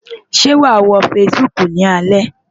Ṣé wàá wo Facebook ni alẹ́?